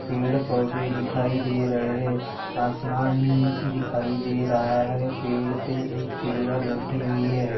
पेड़ पौधे दिखाई दे रहे है आसमान दिखाई दे रहा है पेड़ पे एक चिडिया बेठी हुई है।